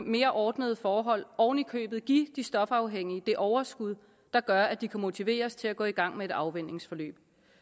mere ordnede forhold oven i købet give de stofafhængige det overskud der gør at de kan motiveres til at gå i gang med et afvænningsforløb